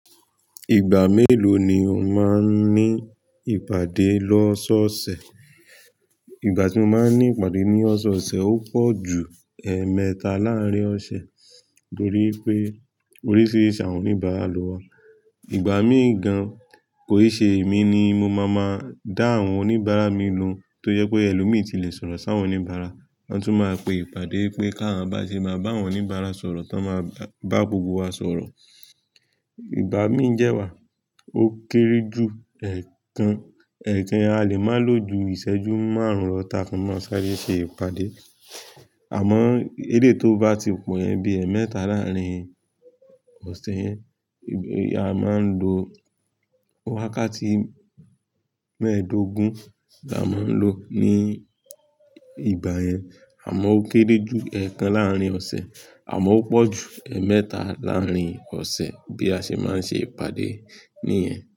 Ìgbà mélòó ni o máa ń ní ìpàdé lọ́sọ́ọ̀ọ̀sẹ̀? Ìgbà tí mo máa ń ní ìpàdé ní ọ̀sọ̀ọ̀sẹ̀, ó pọ̀ ju ẹẹ́mẹ́ta láàárín ọ̀sẹ̀, torí pé oríṣiríṣi àwọn oníbàárà ló wà. Ìgbà míì gan, kò í se èmi ni mo máa máa dá àwọn oníbàárà mi lohun, tó jẹ́ pé ẹlòmíì ti le sọ̀rọ̀ sáwọn oníbàárà. Wọ́n tún máa pe ìpàdé pé ká máa bá ṣe máa bá àwọn oníbàárà sọ̀rọ̀, ton máa bá gbogbo wa sọ̀rọ̀. Ìgba mi dè wa, o kere ju èèkan. Ẹ̀ẹ̀kan a lè máa lo ju ìṣẹ́jú márùn-ún lọ ta fi maa sáré ṣe ìpàdé. Àmọ́ eléi to bá ti pọ̀ yen, bí ẹẹ́mẹ́ta láàárín ọ̀sẹ̀ yẹn, la máa ń lo wákàtí mẹ́ẹ̀ẹ́dógún ni a máa ń lo ní ìgbà yẹn. Àmọ́ ó kéré ju ẹẹ́kan láàárín ọ̀sẹ̀, àmọ́ ó pọ̀ ju ẹẹ́mẹ́ta láàárín ọ̀sẹ̀ bí a ṣe máa ń ṣe ìpàdé nìyẹn.